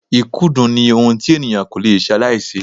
Ikudun ni ohun tí ènìyàn ko lè salaise.